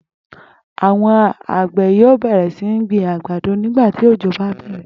Àwo̩n àgbè̩ yóò bè̩rè̩ sí gbin àgbàdo nígbà tí òjò bá bè̩rè̩